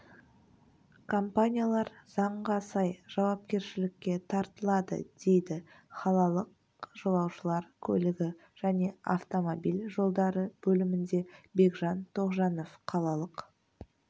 компаниялар заңға сай жауапкершілікке тартылады дейді қалалық жолаушылар көлігі және автомобиль жолдары бөлімінде бекжан тоғжанов қалалық